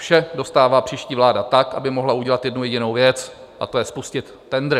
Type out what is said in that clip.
Vše dostává příští vláda tak, aby mohla udělat jednu jedinou věc, a to je spustit tendr.